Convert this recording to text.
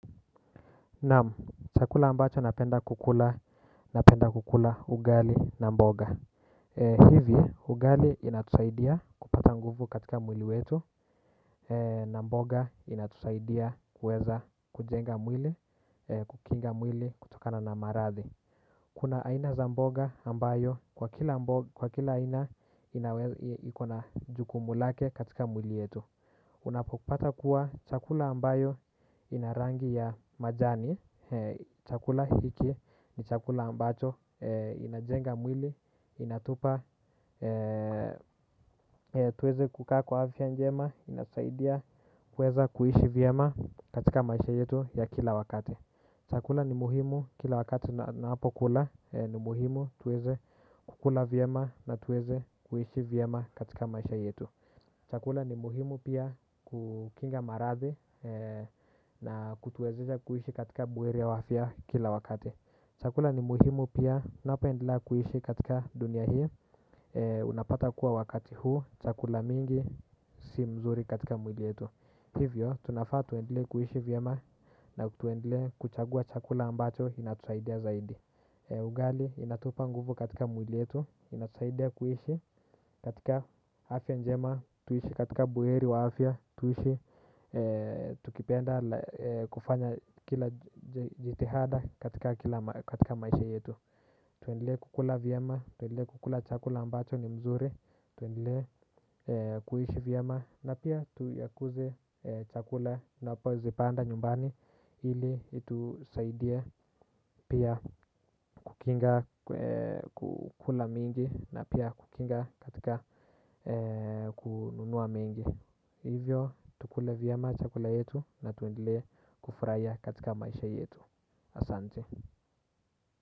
Naam, chakula ambacho napenda kukula, napenda kukula ugali na mboga. Hivi, ugali inatusaidia kupata nguvu katika mwili wetu. Na mboga inatusaidia kuweza kujenga mwili, kukinga mwili, kutokana na maradhi. Kuna aina za mboga ambayo kwa kila aina inawezi ikona jukumu lake katika mwili wetu. Unapopata kuwa chakula ambayo ina rangi ya majani chakula hiki ni chakula ambacho inajenga mwili. Inatupa tuweze kukaa kwa afia njema. Inasaidia kueza kuishi vyema katika maisha yetu ya kila wakati. Chakula ni muhimu kila wakati na napo kula ni muhimu tuweze kukula vyema na tuweze kuishi vyema katika maisha yetu. Chakula ni muhimu pia kukinga maradhi na kutuwezesha kuishi katika buheri wa afia kila wakati. Chakula ni muhimu pia napoendelea kuishi katika dunia hii. Unapata kuwa wakati huu chakula mingi si mzuri katika mwili yetu. Hivyo tunafaa tuendelee kuishi vyema na tuendelee kuchagua chakula ambacho inatusaidia zaidi. Ugali inatupa nguvu katika mwili yetu. Inasaidia kuishi katika afya njema. Tuishi katika buweri wa hafya. Tuishi tukipenda kufanya kila jitihada katika maisha yetu. Tuendele kukula vyema. Tuendele kukula chakula ambacho ni mzuri. Tuendele kuishi vyema. Na pia tuyakuze chakula napozipanda nyumbani. Hili itusaidia pia kukinga kukula mingi na pia kukinga katika kununua mingi. Hivyo tukule vyema chakula yetu na tuendelee kufraia katika maisha yetu. Asante.